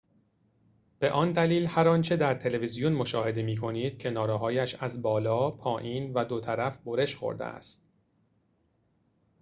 به آن دلیل هر آنچه در تلویزیون مشاهده می‌کنید کناره‌هایش از بالا پایین و دو طرف برش خورده است